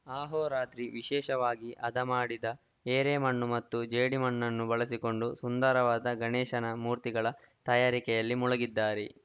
ಆಹೋರಾತ್ರಿ ವಿಶೇಷವಾಗಿ ಹದಮಾಡಿದ ಏರೆ ಮಣ್ಣು ಮತ್ತು ಜೇಡಿಮಣ್ಣನ್ನು ಬಳಸಿಕೊಂಡು ಸುಂದರವಾದ ಗಣೇಶನ ಮೂರ್ತಿಗಳ ತಯಾರಿಕೆಯಲ್ಲಿ ಮುಳುಗಿದ್ದಾರೆ